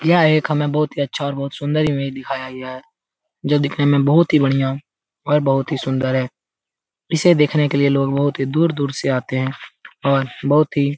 यह हमे एक बहुत ही अच्छा और सुंदर इमेज दिखाया गया है जो दिखने में बहुत ही बढ़िया और बहुत ही सुंदर है इसे देखने के लिए लोग बहुत ही दूर-दूर से आते है और बहुत ही --